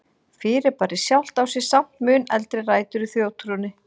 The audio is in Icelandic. Fyrirbærið sjálft á sér samt mun eldri rætur í þjóðtrúnni.